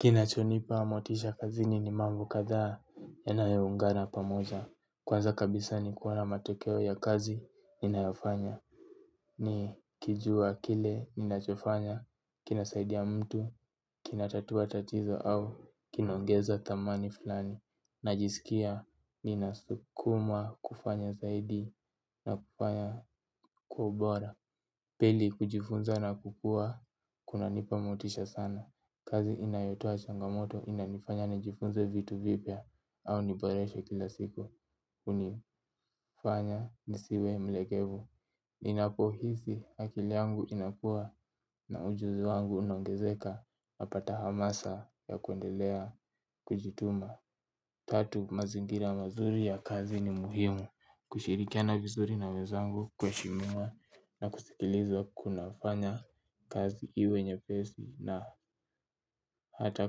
Kinachonipa motisha kazini ni mambo kadhaa yanayoungana pamoja. Kwanza kabisa ni kuona matokeo ya kazi ninayofanya. Nikijua kile ninachofanya kinasaidia mtu, kinatatua tatizo au kinaongeza thamani fulani. Najisikia ninasukumwa kufanya zaidi na kufanya kwa ubora. Pili kujifunza na kukua kunanipa motisha sana. Kazi inayotoa changamoto inanifanya nijifunze vitu vipya au niboreshe kila siku hunifanya nisiwe mlegevu. Ninapohisi akili yangu inakua na ujuzi wangu unaongezeka napata hamasa ya kuendelea kujituma. Tatu mazingira mazuri ya kazi ni muhimu kushirikiana vizuri na wenzangu kuheshimiana na kusikilizwa kunafanya kazi iwe nyepesi na hata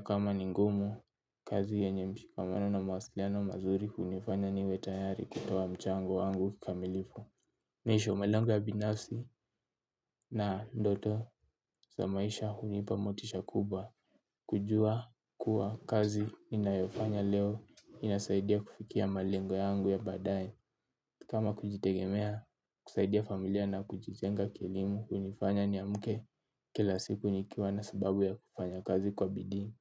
kama ni ngumu kazi yenye mshikamano na mawasiliano mazuri hunifanya niwe tayari kutoa mchango wangu kikamilifu. Mwisho malengo ya binafsi na ndoto za maisha hunipa motisha kubwa. Kujua kuwa kazi ninayofanya leo inasaidia kufikia malengo yangu ya baadaye. Kama kujitegemea kusaidia familia na kujijenga kielimu hunifanya niamke kila siku nikiwa na sababu ya kufanya kazi kwa bidii.